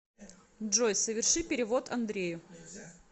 джой соверши перевод андрею